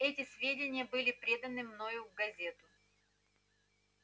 эти сведения были преданы мной в газету